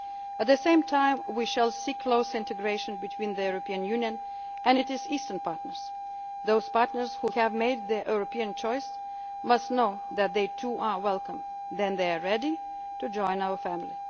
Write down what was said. the United States. At the same time, we shall seek closer integration between the European Union and its Eastern Partners. Those partners who have made their European choice must know that they too are welcome, when they are ready,